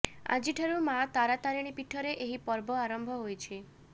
ଆଜିଠାରୁ ମାଆ ତାରା ତାରିଣୀ ପୀଠରେ ଏହି ପର୍ବ ଆରମ୍ଭ ହୋଇଛି